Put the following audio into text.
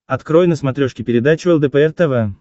открой на смотрешке передачу лдпр тв